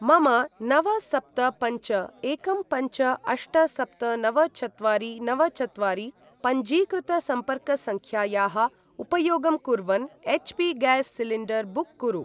मम नव सप्त पञ्च एकं पञ्च अष्ट सप्त नव चत्वारि नव चत्वारि पञ्जीकृतसम्पर्कसङ्ख्यायाः उपयोगं कुर्वन् एच्.पी.गैस् सिलिण्डर् बुक् कुरु।